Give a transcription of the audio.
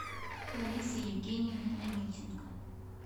ларисы евгеньевны омельченко